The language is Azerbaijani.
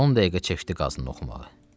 On dəqiqə çəkdi qazını oxumağa.